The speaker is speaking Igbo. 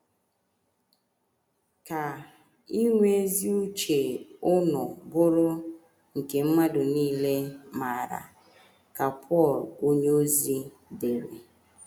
“ Ka inwe ezi uche unu bụrụ nke mmadụ nile maara, ” ka Pọl onyeozi dere.